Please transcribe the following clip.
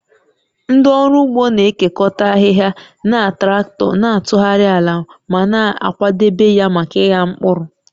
Ndị ọrụ ugbo na-ekekọta ahịhịa na traktọ, na-atụgharị ala ma na-akwadebe ya maka ịgha mkpụrụ